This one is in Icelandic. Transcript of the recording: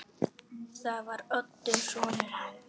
Það var Oddur sonur hans.